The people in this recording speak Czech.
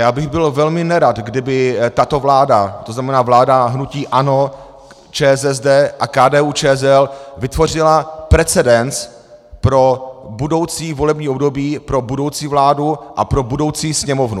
Já bych byl velmi nerad, kdyby tato vláda, to znamená vláda hnutí ANO, ČSSD a KDU-ČSL, vytvořila precedens pro budoucí volební období, pro budoucí vládu a pro budoucí Sněmovnu.